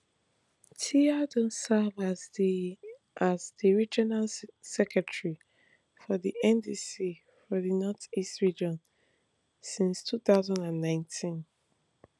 tia don serve as di as di regional secretary of di ndc for di north east region since two thousand and nineteen